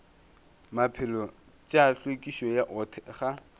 maphelo tša hlwekišo go thekga